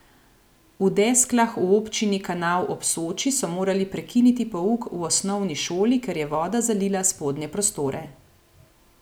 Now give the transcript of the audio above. V Desklah v občini Kanal ob Soči so morali prekiniti pouk v osnovni šoli, ker je voda zalila spodnje prostore.